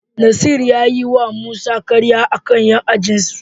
Nasir ya yiwa Musa karya a kan 'yan ajinsu.